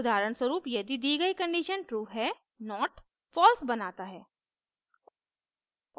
उदाहरणस्वरूप यदि दी गई condition true है not false बनाता है